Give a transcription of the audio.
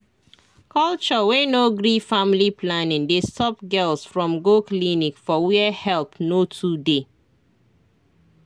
culture wey no gree family planning dey stop girls from go clinic for where help no too dey